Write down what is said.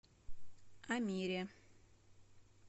амире